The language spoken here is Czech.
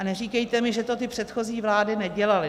A neříkejte mi, že to ty předchozí vlády nedělaly.